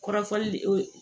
Kɔrɔfɔli de o